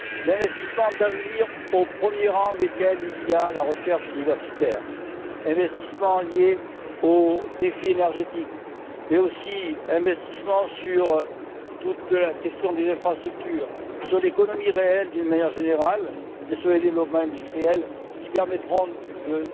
L'investissement d'avenir au premier rang duquel il y a la recherche universitaire, l'investissement lié au défi énergétique, mais aussi l'investissement dans toute la question des infrastructures, dans l'économie réelle d'une manière générale et dans les développements industriels qui permettront de